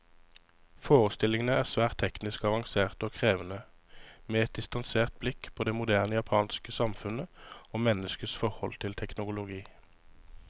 Forestillingene er svært teknisk avanserte og krevende, med et distansert blikk på det moderne japanske samfunnet, og menneskets forhold til teknologi.